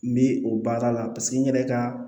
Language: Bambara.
N bɛ o baara la paseke n yɛrɛ ka